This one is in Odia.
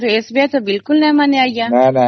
କିନ୍ତୁ SBI ତ ବିଲକୁଲ ବି ମାନେନି ଆଜ୍ଞା